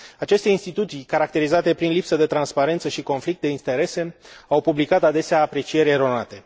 Aceste instituții, caracterizate prin lipsă de transparență și conflict de interese, au publicat adesea aprecieri eronate.